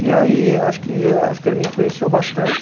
E aí, acho que, acho que ele me influenciou bastante.